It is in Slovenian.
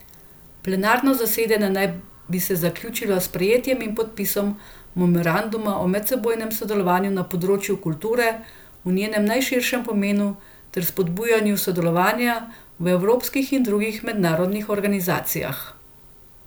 Plenarno zasedanje naj bi se zaključilo s sprejetjem in podpisom memoranduma o medsebojnem sodelovanju na področju kulture v njenem najširšem pomenu ter spodbujanju sodelovanja v evropskih in drugih mednarodnih organizacijah.